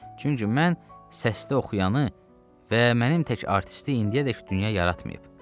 Çünki mən səsli oxuyanı və mənim tək artisti indiyədək dünya yaratmayıb.